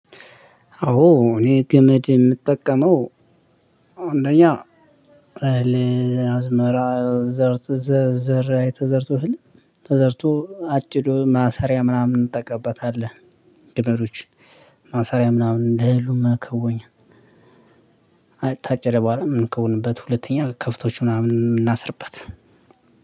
አዎ እኔ ገመድ የምጠቀመው አንደኛ አዝመራ ዘር ዘር ዘር ተዘርቶ ህልም ተዘርቶ አጭዱ ማሰሪያ ምናምን እንጠቀምበታለን ቅጠሎች ማሰሪያ ምናምን እንደ እህሉም መከወኛ። ከታጨደ በኋላ ምን ከሆንንበት ሁለተኛ ከብቶች ምናምን የምናስርበት